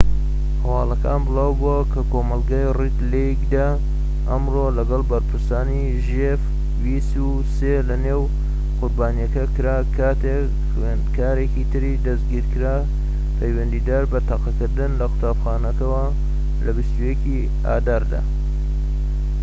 هەواڵەکان بلاوبۆوە لە کۆمەڵگەی ڕید لەیکدا ئەمڕۆ لەگەڵ پرسەکانی ژێف ویس و سێ لە نۆ قوربانیەکە کرا کاتێك خوێندکارێکی تر دەستگیرکرا پەیوەندیدار بە تەقەکردن لە قوتابخانەکەوە لە ٢١ ی ئازاردا